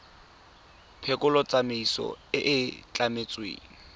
phekolo tsamaiso e e tlametsweng